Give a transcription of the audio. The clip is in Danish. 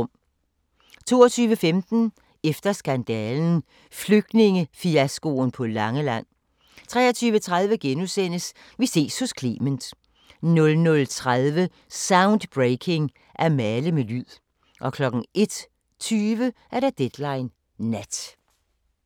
22:15: Efter skandalen – Flygtningefiaskoen på Langeland 23:30: Vi ses hos Clement * 00:30: Soundbreaking – At male med lyd 01:20: Deadline Nat